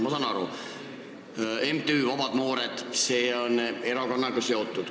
Ma saan aru, et MTÜ Omad Noored on erakonnaga seotud.